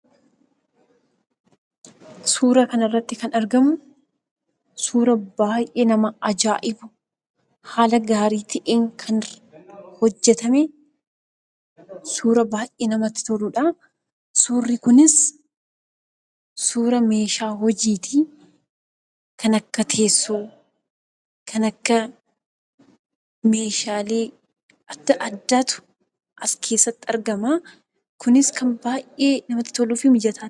Suuraa kana irratti kan argamuu, suuraa baay'ee nama aja'ibuu! Haala gaarii ta'een kan hojeetame. suuraa baay'ee namatti toluudha. Surri kunis suuraa meshaa hojiitti. Kan akka tessooo, kan akka meshalee adda addaattu as keessaatti argamaa. Kunis baay'ee kan namati toluu fi mijataadha.